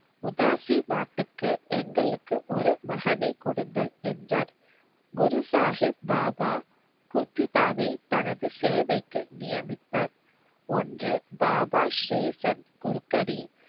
உதாசி மார்த்திற்கு எங்களுக்கு ஒரு மகனை கொடுங்கள் என்றார். குரு சாகிப் பாபா குத்திசிவாவை தனது சேவைக்கு நியமித்தார். ஒன்று. பாபா ஸ்ரீசன் குருக்கடின்